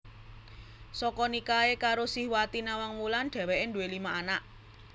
Saka nikahe karo Sihwati Nawangwulan dheweke duwé lima anak